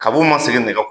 Kabunw ma segi nɛgɛ